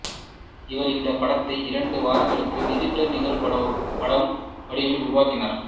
இவர் இந்த படத்தை இரண்டு வாரங்களுக்குள் டிஜிட்டல் நிகழ்படம் வடிவில் உருவாக்கினார்